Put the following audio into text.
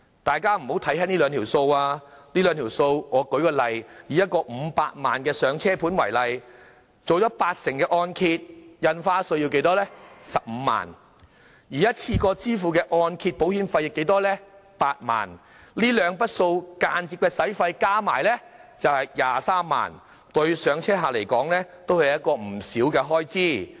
大家不要輕視這兩筆開支，舉例而言，以一個500萬元"上車盤"為例，承造八成按揭，印花稅便要15萬元，而一次過支付的按揭保費則要8萬元，這兩筆間接費用合共23萬元，對"上車客"而言是一筆不少的開支。